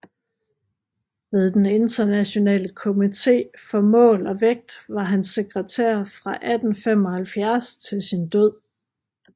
Ved den internationale komité for mål og vægt var han sekretær fra 1875 til sin død